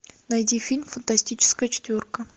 найди фильм фантастическая четверка